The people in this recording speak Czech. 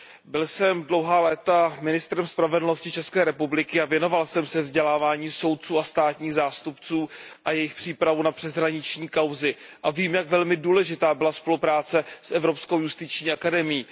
Byl jsem dlouhá léta ministrem spravedlnosti České republiky a věnoval jsem se vzdělávání soudců a státních zástupců a jejich přípravě na přeshraniční kauzy a vím, jak velmi důležitá byla spolupráce s Evropskou justiční akademií.